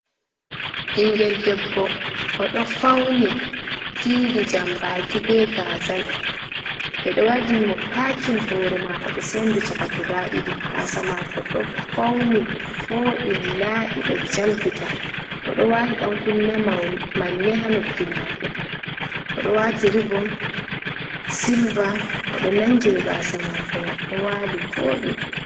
Ɓingel debbo o ɗo fauni didi jambaki be gazal, ɓe ɗo waɗini mo pakin hore mako, ɓe sendi chaka guda ɗiɗi, gasa mako ɗo fauni, voɗi, laɓi, ɗo jalbita, oɗo wati ɗankunne manne ha noppi mako, oɗo o wati rivom silver, oɗo nangiri gasa mako mai, ɗo wali vodi.